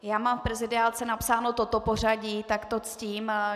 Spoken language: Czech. Já mám v prezidiálce napsáno toto pořadí, tak to ctím.